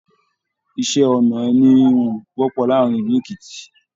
Iṣẹ-ọnà ẹní ìhun wọpọ láàrin ìlú Èkìtì.